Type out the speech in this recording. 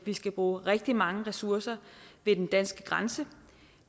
vi skal bruge rigtig mange ressourcer ved den danske grænse